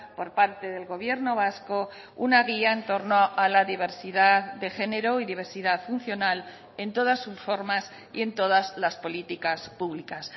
por parte del gobierno vasco una guía en torno a la diversidad de género y diversidad funcional en todas sus formas y en todas las políticas públicas